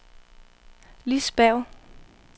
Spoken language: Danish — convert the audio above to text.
Lis Berg